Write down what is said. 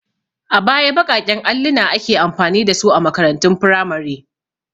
A baya baƙaƙen alluna ake amfani da su a makarantun firamare.